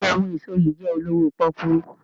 béèni àwọn èso yí jé olowo poku.